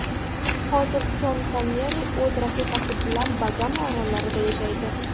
Hozir Shon Konneri o‘z rafiqasi bilan Bagama orollarida yashaydi.